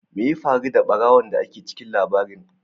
Me ya faru da barawon da ke cikin labarin?